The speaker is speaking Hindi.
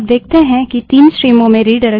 इस प्रक्रिया को रिडाइरेक्शन कहते हैं